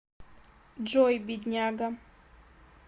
джой бедняга